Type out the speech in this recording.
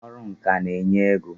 Ọrụ ǹkà n'enye ego